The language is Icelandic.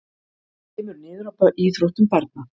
Kemur niður á íþróttum barna